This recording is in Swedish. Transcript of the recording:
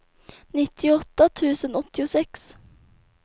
nittioåtta tusen åttiosex